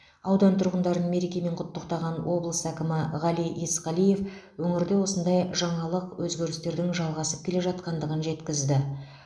аудан тұрғындарын мерекемен құттықтаған облыс әкімі ғали есқалиев өңірде осындай жаңалық өзгерістердің жалғасып келе жатқандығын жеткізді